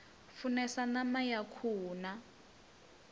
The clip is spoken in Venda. funesa ṋama ya khuhu na